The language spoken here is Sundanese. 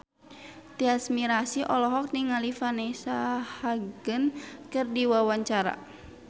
Tyas Mirasih olohok ningali Vanessa Hudgens keur diwawancara